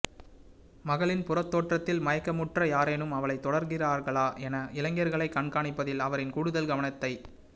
மகளின் புறத்தோற்றத்தில் மயக்கமுற்ற யாரேனும் அவளைத் தொடர்கிறார்களா என இளைஞர்களைக் கண்காணிப்பதில் அவரின் கூடுதல் கவனத்தைக்